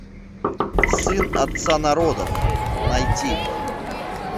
сын отца народов найти